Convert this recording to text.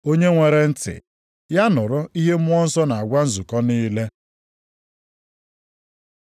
Onye nwere ntị, ya nụrụ ihe Mmụọ Nsọ na-agwa nzukọ niile.”